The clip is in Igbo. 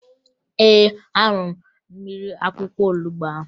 Ee, aṅụrụ m mmiri akwụkwọ olubo ahụ